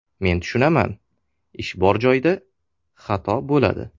Men tushunaman, ish bor joyda, xato bo‘ladi.